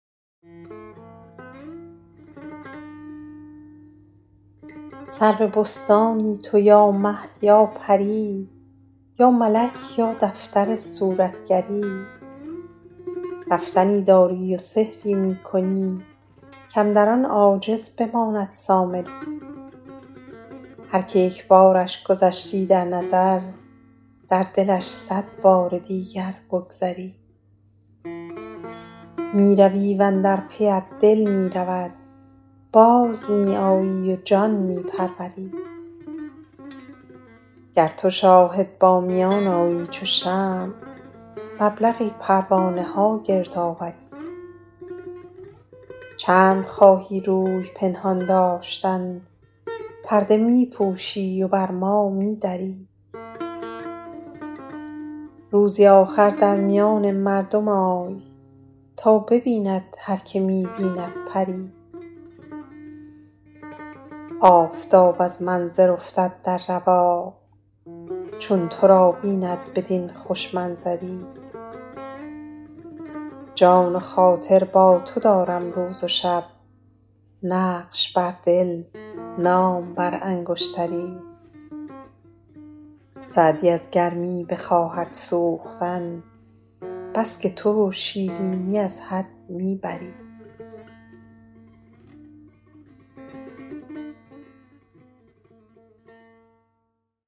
سرو بستانی تو یا مه یا پری یا ملک یا دفتر صورتگری رفتنی داری و سحری می کنی کاندر آن عاجز بماند سامری هر که یک بارش گذشتی در نظر در دلش صد بار دیگر بگذری می روی و اندر پیت دل می رود باز می آیی و جان می پروری گر تو شاهد با میان آیی چو شمع مبلغی پروانه ها گرد آوری چند خواهی روی پنهان داشتن پرده می پوشی و بر ما می دری روزی آخر در میان مردم آی تا ببیند هر که می بیند پری آفتاب از منظر افتد در رواق چون تو را بیند بدین خوش منظری جان و خاطر با تو دارم روز و شب نقش بر دل نام بر انگشتری سعدی از گرمی بخواهد سوختن بس که تو شیرینی از حد می بری